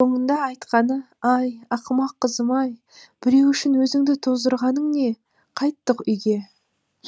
соңында айтқаны ай ақымақ қызым ай біреу үшін өзіңді тоздырғаның не қайттық үйге